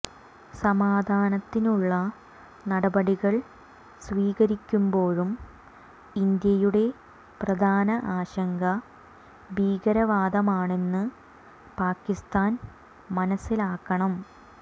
സമാധനത്തിനുള്ള നടപടികൾ സ്വീകരിക്കുമ്പോഴും ഇന്ത്യയുടെ പ്രധാന ആശങ്ക ഭീകരവാദമാണെന്ന് പാക്കിസ്ഥാൻ മനസ്സിലാക്കണം